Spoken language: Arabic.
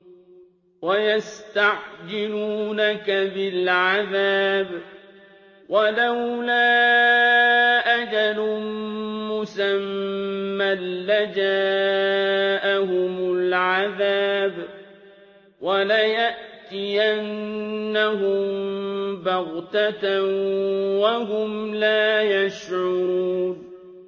وَيَسْتَعْجِلُونَكَ بِالْعَذَابِ ۚ وَلَوْلَا أَجَلٌ مُّسَمًّى لَّجَاءَهُمُ الْعَذَابُ وَلَيَأْتِيَنَّهُم بَغْتَةً وَهُمْ لَا يَشْعُرُونَ